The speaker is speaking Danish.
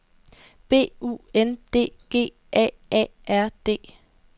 B U N D G A A R D